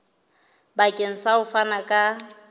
bakeng sa ho fana ka